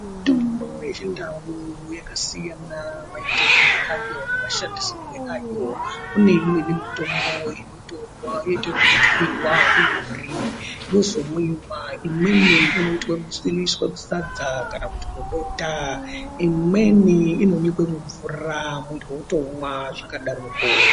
Mitombo yechindau yakasiyana maitirwe ayo nemashandisirwe ayo, kuneimwe mitombo inotorwa yoitwe zveku twiyiwa yozomwiwa, imweni ,inoitwe kuiswa musadza kana kuti mubota. Imweni inonyikwa mumvura muntu otonwa zvakadaro.